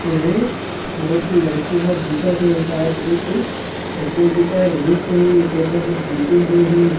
ऐमें बहुत लड़की मन दिखत हे सायद ए कोई प्रतियोगिता रहिस होही तेन म ये मन जीते होही।